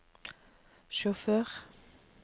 sjåfør